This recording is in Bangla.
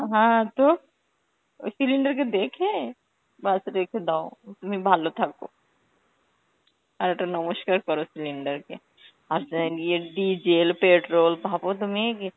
হ্যাঁ তো, ওই cylinder কে দেখে ব্যস রেখে দাও, তুমি ভালো থাকো. আর ওইটা নমস্কার করো cylinder কে. ভাবো তুমি ইয়ে~